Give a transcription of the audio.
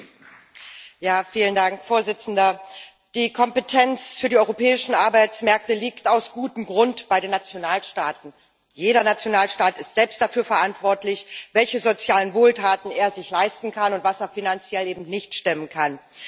Herr Präsident! Die Kompetenz für die europäischen Arbeitsmärkte liegt aus gutem Grund bei den Nationalstaaten. Jeder Nationalstaat ist selbst dafür verantwortlich, welche sozialen Wohltaten er sich leisten kann und was er finanziell eben nicht stemmen kann.